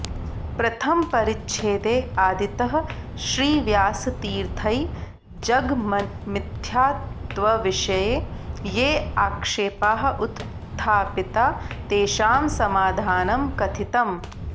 प्रथमपरिच्छेदे आदितः श्रीव्यासतीर्थैः जगन्मिथ्यात्वविषये ये आक्षेपाः उत्थापिताः तेषां समाधानं कथितम्